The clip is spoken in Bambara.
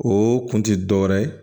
O kun ti dɔwɛrɛ ye